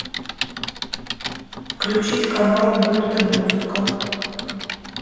включить канал мульт и музыка